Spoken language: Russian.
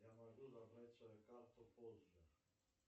я могу забрать свою карту позже